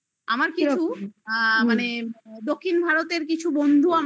খাই আমার কিছু আ মানে দক্ষিণ ভারতের কিছু বন্ধু আমার